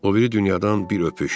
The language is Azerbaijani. O biri dünyadan bir öpüş.